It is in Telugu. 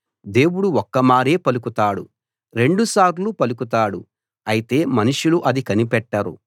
దేవుడు ఒక్కమారే పలుకుతాడు రెండు సార్లు పలుకుతాడు అయితే మనుషులు అది కనిపెట్టరు